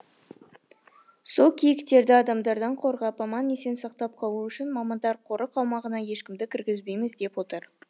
сол киіктерді адамдардан қорғап аман есен сақтап қалу үшін мамандар қорық аумағына ешкімді кіргізбейміз деп отыр